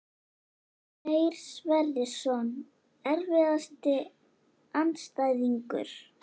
Freyr Sverrisson Erfiðasti andstæðingur?